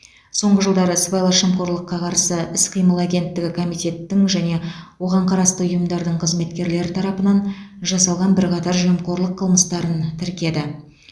соңғы жылдары сыбайлас жемқорлыққа қарсы іс қимыл агенттігі комитеттің және оған қарасты ұйымдардың қызметкерлері тарапынан жасалған бірқатар жемқорлық қылмыстарын тіркеді